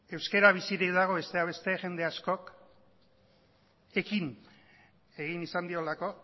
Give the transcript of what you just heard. euskera bizirik dago besteak beste jende askok ekin egin izan diolako